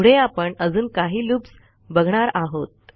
पुढे आपण अजून काही लूप्स बघणार आहोत